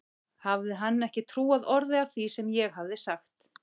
Hafði hann ekki trúað orði af því sem ég hafði sagt?